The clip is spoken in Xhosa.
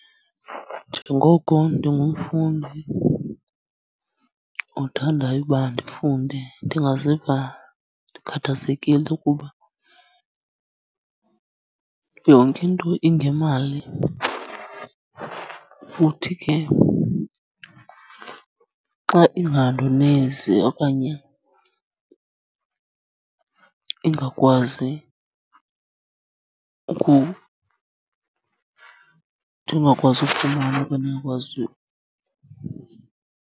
Njengoko ndingumfundi othandayo uba ndifunde ndingaziva ndikhathazekile ukuba yonke into ingemali, futhi ke xa ingandonezi okanye ingakwazi ndingakwazi ufumana .